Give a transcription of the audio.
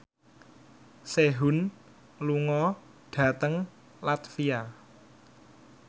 Sehun lunga dhateng latvia